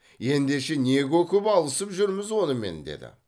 ендеше не көкіп алысып жүрміз онымен деді